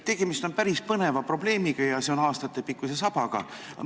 Tegemist on päris põneva probleemiga ja see on aastatepikkuse sabaga.